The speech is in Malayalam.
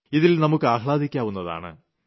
ഇതിൽ നമുക്ക് ആഹ്ലാദിക്കാവുന്നതാണ്